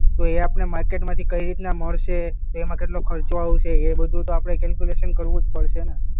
તો એ આપણને માર્કેટમાંથી કઈ રીતના મળશે? એમાં કેટલો ખર્ચો આવશે? એ બધું તો આપણે કેલ્ક્યુલેશન કરવું જ પડશે ને?